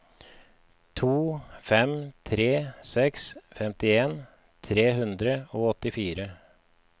to fem tre seks femtien tre hundre og åttifire